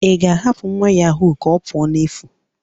Ị ga-ahapụ nwa yahoo ka ọ pụọ n'efu?